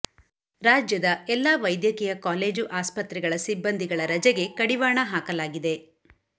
ರಾಜ್ಯದ ಎಲ್ಲಾ ವೈದ್ಯಕೀಯ ಕಾಲೇಜು ಆಸ್ಪತ್ರೆಗಳ ಸಿಬಂದಿಗಳ ರಜೆಗೆ ಕಡಿವಾಣ ಹಾಕಲಾಗಿದೆ